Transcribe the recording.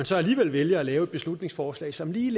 så alligevel vælger at lave et beslutningsforslag som lige